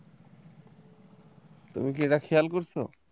তুমি কি এটা খেয়াল করছো?